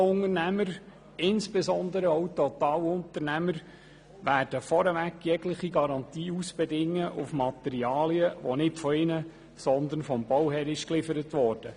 Jeder Unternehmer – insbesondere ein Totalunternehmer – wird sich vorab jegliche Garantie auf Materialien ausbedingen, die nicht von ihm, sondern vom Bauherrn geliefert wurden.